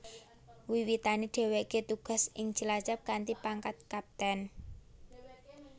Wiwitane dheweke tugas ing Cilacap kanthi pangkat Kapten